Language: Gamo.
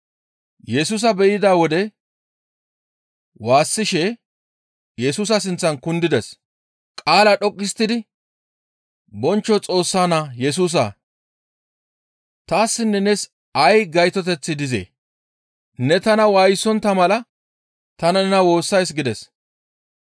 Yesusa be7ida wode waassishe Yesusa sinththan kundides; qaalaa dhoqqu histtidi, «Bonchcho Xoossaa Naa Yesusaa! Taassinne nees ay gaytoteththi dizee? Ne tana waayisontta mala ta nena woossays» gides.